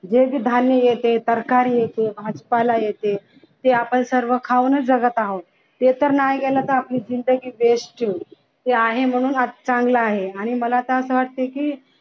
जे जे धान्य येत ते सरकार येते भाजीपाला येते ते आपण सर्व खाऊनच जगत आहोत ते तर नाही गेलं तर आपली जिंदगी west ते आहे म्हणून चांगल आहे आणि मला तर असं वाटतय की